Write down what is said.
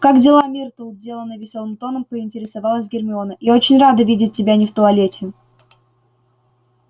как дела миртл деланно весёлым тоном поинтересовалась гермиона я очень рада видеть тебя не в туалете